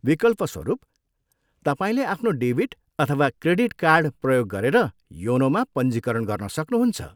विकल्पस्वरुप, तपाईँले आफ्नो डेबिट अथवा क्रेडिट कार्ड प्रयोग गरेर योनोमा पञ्जीकरण गर्न सक्नुहुन्छ।